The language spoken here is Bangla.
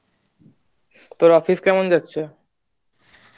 তোর office কেমন যাচ্ছে